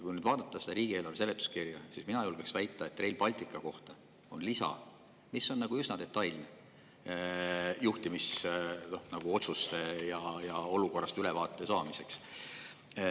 Kui nüüd vaadata seda riigieelarve seletuskirja, siis mina julgen küll väita, et Rail Balticu kohta käiv lisa on üsna detailne juhtimisotsustest ja olukorrast ülevaate saamiseks.